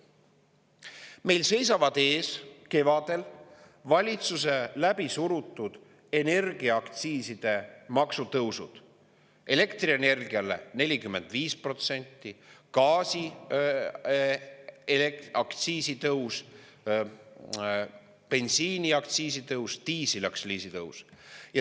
Meil seisavad kevadel ees valitsuse läbisurutud energiaaktsiiside tõusud: elektrienergia puhul 45%, gaasiaktsiisi tõus, bensiiniaktsiisi tõus, diisliaktsiisi tõus.